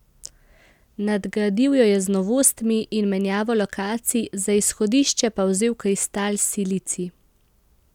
Nadgradil jo je z novostmi in menjavo lokacij, za izhodišče pa vzel kristal silicij.